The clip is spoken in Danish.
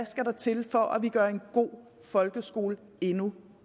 skal til for at gøre en god folkeskole endnu